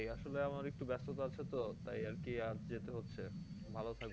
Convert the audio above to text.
আসলে আমার একটু ব্যাস্ততা আছে তো তাই আর কি আজ যেতে হচ্ছে ভালো